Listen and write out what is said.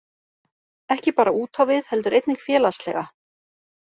Ekki bara útávið heldur einnig félagslega